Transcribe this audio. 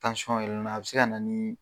Tansyɔn yɛlɛna a bɛ se ka na niii.